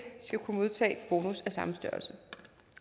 skal kunne modtage bonus af samme størrelse